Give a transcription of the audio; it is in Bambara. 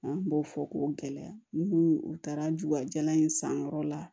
An b'o fɔ k'o gɛlɛya n'u u taara jukajalan in san yɔrɔ la